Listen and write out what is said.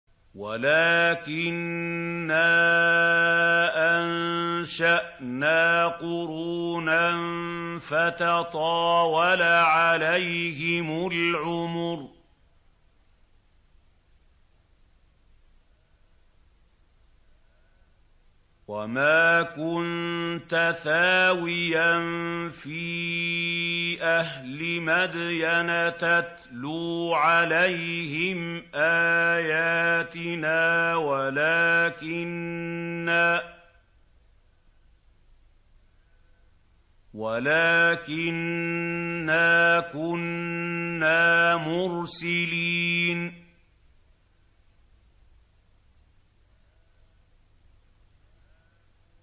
وَلَٰكِنَّا أَنشَأْنَا قُرُونًا فَتَطَاوَلَ عَلَيْهِمُ الْعُمُرُ ۚ وَمَا كُنتَ ثَاوِيًا فِي أَهْلِ مَدْيَنَ تَتْلُو عَلَيْهِمْ آيَاتِنَا وَلَٰكِنَّا كُنَّا مُرْسِلِينَ